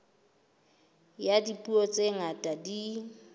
ya dipuo tse ngata di